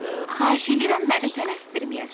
Xahiş edirəm, məni tələsdirməyəsiniz.